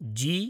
जी